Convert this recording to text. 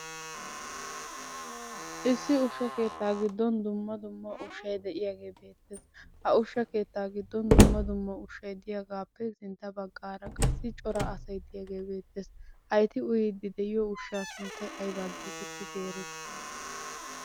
Issi ushsha keettaa giddon dumma dumma ushshay de'iyagee beettees. Ha ushsha keettaa giddon dumma dumma ushshay diyagaappe sintta baggaara qassi cora asay diyagee beettees. Ha eti uyiiddi de'iyo ushshaa sunttay aybaa geetettidi erettii?